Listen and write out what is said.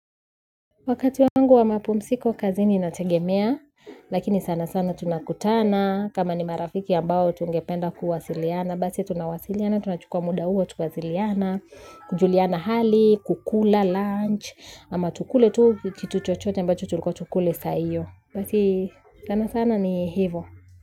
Wakati wangu wa mapumziko kazini inategemea, lakini sana sana tunakutana, kama ni marafiki ambao tungependa kuwasiliana, basi tunawasiliana, tunachukua muda huo tunawasiliana, kujuliana hali, kukula, lunch, ama tukule tu kitu chochote ambacho tulikuwa tukule saa hio, basi sana sana ni hivo.